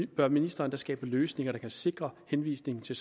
bør ministeren da skabe løsninger der kan sikre henvisning til